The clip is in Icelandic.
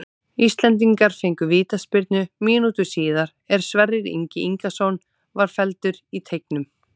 Íslendingar fengu vítaspyrnu mínútu síðar er Sverrir Ingi Ingason var felldur í teignum.